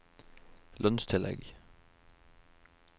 lønnstillegg